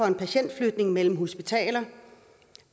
for patientflytning mellem hospitaler